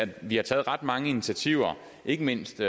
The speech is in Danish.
vi har taget ret mange initiativer ikke mindst